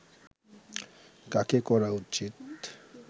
কাকে করা উচিত